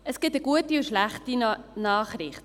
Es gibt eine gute und eine schlechte Nachricht.